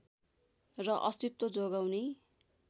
र अस्तित्व जोगाउने